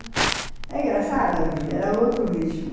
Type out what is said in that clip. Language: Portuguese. É engraçada a vida, era outro ritmo.